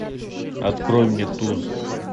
открой мне туз